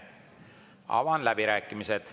Avan läbirääkimised.